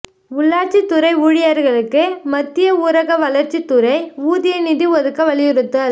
உள்ளாட்சித் துறை ஊழியா்களுக்கு மத்திய ஊரக வளா்ச்சித் துறை ஊதிய நிதி ஒதுக்க வலியுறுத்தல்